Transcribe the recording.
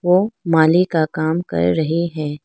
वो माली का काम कर रही है।